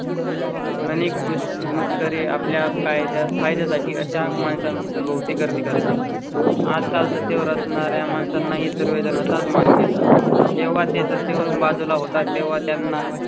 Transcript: आणि खुशमस्करी आपल्या काय फायद्या साठी आता माणसां भोवती गर्दी करतात. आजकाल करणार् या माणसां नाही सर्व जण असतात. मात्र जेव्हा ते सत्तेवरून बाजूला होता तेव्हा त्यांना